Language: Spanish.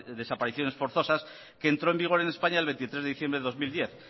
desapariciones forzosas que entró en vigor en españa el veintitrés de diciembre de dos mil diez